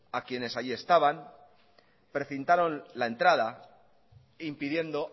a quienes allí estaban precintaron la entrada impidiendo